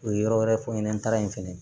O ye yɔrɔ wɛrɛ fɔ n ɲɛna n taara yen fɛnɛ